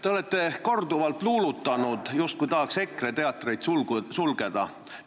Te olete korduvalt luulutanud, justkui tahaks EKRE teatreid sulgeda.